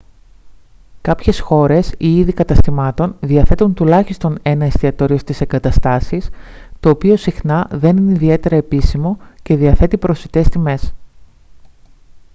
κάποιες χώρες ή είδη καταστημάτων διαθέτουν τουλάχιστον ένα εστιατόριο στις εγκαταστάσεις το οποίο συχνά δεν είναι ιδιαίτερα επίσημο και διαθέτει προσιτές τιμές